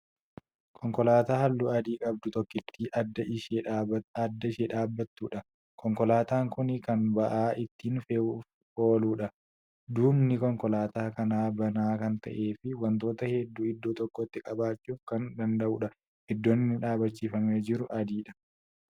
Konkolaataa halluu adii qabdu tokkittii adda ishee dhaabattuudha. konkolaataan Kuni Kan ba'aa ittiin fe'uuf ooludha duubni konkolaataa kanaa banaa Kan ta'ee fi wantoota hedduu iddoo tokkotti qabachuuf Kan danda'uudha. iddoon inni dhaabachiifamee jiru adiidha.